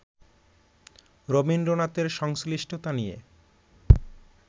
রবীন্দ্রনাথের সংশ্লিষ্টতা নিয়ে